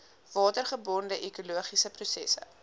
watergebonde ekologiese prosesse